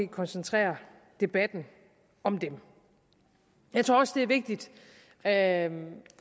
koncentrere debatten om dem jeg tror også det er vigtigt at